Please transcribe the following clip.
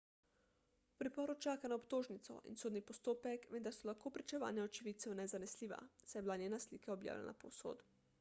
v priporu čaka na obtožnico in sodni postopek vendar so lahko pričevanja očividcev nezanesljiva saj je bila njena slika objavljena povsod